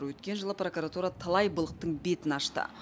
өткен жылы прокуратура талай былықтың бетін ашты